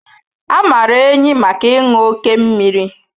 A maara ehi maka ịṅụ oké mmiri